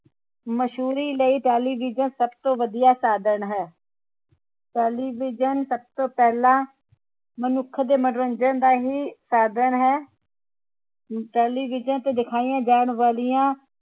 ਮਸ਼ਹੂਰੀ ਲਈ television ਸਭ ਤੋਂ ਵਧੀਆ ਸਾਧਣ ਹੈ television ਸਭ ਤੋਂ ਪਹਿਲਾ ਮਨੁੱਖ ਦੇ ਮਨੋਰੰਜਨ ਦਾ ਹੀ ਸਾਧਣ ਹੈ television ਤੇ ਦਿਖਾਇਆ ਜਾਣ ਵਾਲਿਆਂ